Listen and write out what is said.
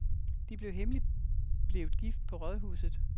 De blev hemmeligt blevet gift på rådhuset.